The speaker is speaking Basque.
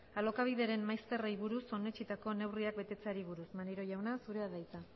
alokabideren maizterrei buruz onetsitako neurriak betetzeari buruz maneiro jauna zurea da hitza